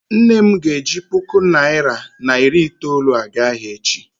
nne m ga-eji puku naira na iri itoolu aga ahia echi